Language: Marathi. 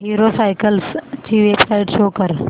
हीरो सायकल्स ची वेबसाइट शो कर